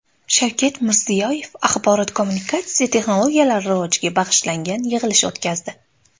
Shavkat Mirziyoyev axborot-kommunikatsiya texnologiyalari rivojiga bag‘ishlangan yig‘ilish o‘tkazdi.